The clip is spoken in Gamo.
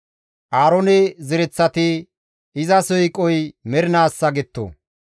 Aaroone zereththati, «Iza siiqoy mernaassa» getto.